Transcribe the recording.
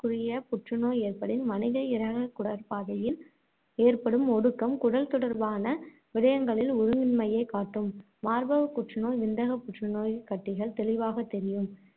~குறிய புற்று நோய் ஏற்படின், மனித இரையகக் குடற்பாதையில் ஏற்படும் ஒடுக்கம் குடல் தொடர்பான விடயங்களில் ஒழுங்கின்மையைக் காட்டும். மார்பகப் புற்றுநோய், விந்தகப் புற்றுநோய் கட்டிகள் தெளிவாகத் தெரியும்.